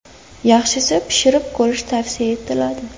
Yaxshisi pishirib ko‘rish tavsiya etiladi.